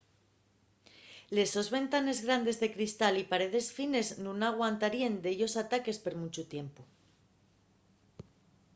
les sos ventanes grandes de cristal y paredes fines nun aguantaríen dellos ataques per munchu tiempu